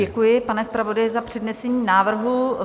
Děkuji, pane zpravodaji, za přednesení návrhu.